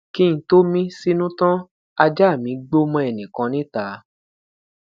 ki n to mi sinu tan aja mi gbo mọ ẹnikan nita